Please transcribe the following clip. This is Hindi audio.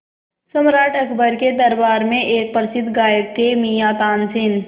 सम्राट अकबर के दरबार में एक प्रसिद्ध गायक थे मियाँ तानसेन